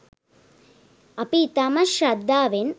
අපි ඉතාම ශ්‍රද්ධාවෙන්